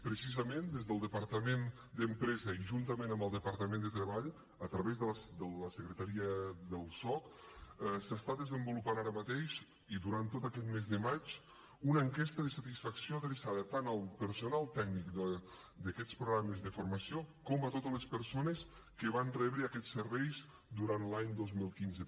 precisament des del departament d’empresa i juntament amb el departament de treball a través de la secretaria del soc s’està desenvolupant ara mateix i durant tot aquest mes de maig una enquesta de satisfacció adreçada tant al personal tècnic d’aquests programes de formació com a totes les persones que van rebre aquests serveis durant l’any dos mil quinze